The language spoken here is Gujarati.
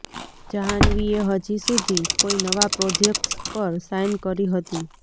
જાહ્નવીએ હજી સુધી કોઈ નવા પ્રોજેક્ટ્સ પર સાઈન કરી હતી